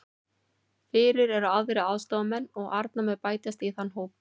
Fyrir eru þrír aðstoðarmenn og Arnar mun bætast í þann hóp.